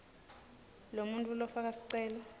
lomuntfu lofaka sicelo